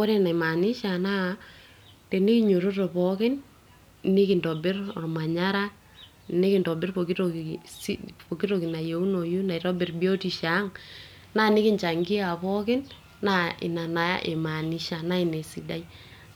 ore enaimanisha naa tenikinyiototo pookin nikintobirr ormanyara nikintobirr pokitoki nayieunoi naitobirr biotisho ang naa nikinchangia pookin naa ina naa imaanisha naa ina esidai